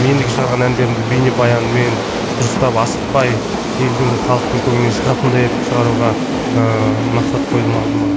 ендігі шығарған әндерімді бейнебаянмен дұрыстап асықпай елдің халықтың көңілінен шығатындай етіп шығаруға ыыы мақсат қойдым алдыма